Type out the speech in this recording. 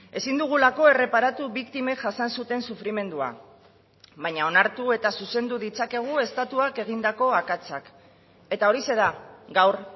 ezin dugulako erreparatu biktimek jasan zuten sufrimendua baina onartu eta zuzendu ditzakegu estatuak egindako akatsak eta horixe da gaur